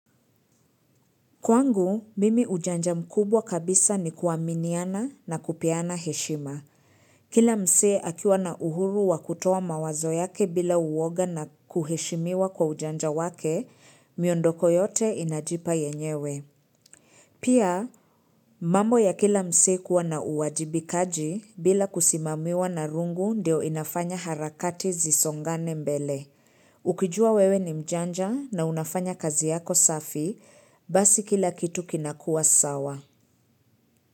Kwangu, mimi ujanja mkubwa kabisa ni kuaminiana na kupeana heshima. Kila msee akiwa na uhuru wa kutoa mawazo yake bila uwoga na kuheshimiwa kwa ujanja wake, miondoko yote inajipa yenyewe. Pia, mambo ya kila msee kuwa na uwajibikaji bila kusimamiwa na rungu ndio inafanya harakati zisongane mbele. Ukijua wewe ni mjanja na unafanya kazi yako safi, basi kila kitu kinakuwa sawa.